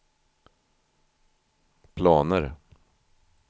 planer